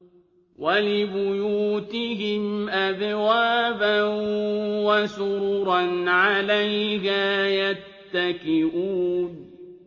وَلِبُيُوتِهِمْ أَبْوَابًا وَسُرُرًا عَلَيْهَا يَتَّكِئُونَ